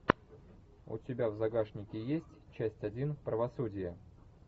у тебя в загашнике есть часть один правосудие